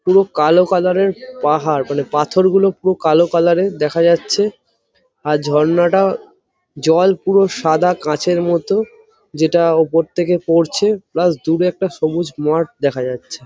পুরো কালো কালার এর পাহাড় | মানে পাথরগুলো পুরো কালো কালার এর দেখা যাচ্ছে | আর ঝর্নাটার জল পুরো সাদা কাঁচের মতো যেটা ওপর থেকে পড়ছে | প্লাস দূরে একটা সবুজ মাঠ দেখা যাচ্ছে ।